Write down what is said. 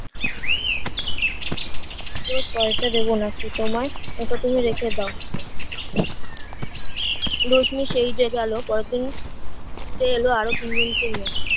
রোজ পয়সা দেবো নাকি তোমায় ওটা তুমি রেখে দাও রশ্মি সেই যে গেল পরের দিন সে এলো আরো তিন জনকে নিয়ে